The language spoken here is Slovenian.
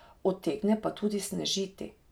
Utegne pa tudi snežiti.